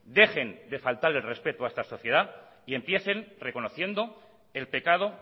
dejen de faltar el respeto a esta sociedad y empiecen reconociendo el pecado